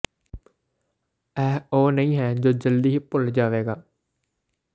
ਇਹ ਉਹ ਨਹੀਂ ਹੈ ਜੋ ਜਲਦੀ ਹੀ ਭੁੱਲ ਜਾਵੇਗਾ